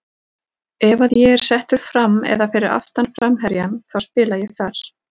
Ef að ég er settur fram eða fyrir aftan framherjann þá spila ég þar.